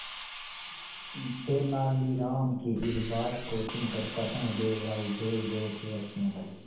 तेनालीराम की इस बात को सुनकर कृष्णदेव राय जोरजोर से हंसने लगे